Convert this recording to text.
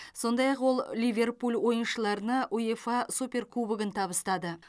сондай ақ ол ливерпуль ойыншыларына уефа суперкубогын табыстады